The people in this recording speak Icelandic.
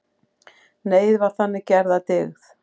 Neyð var þannig gerð að dygð.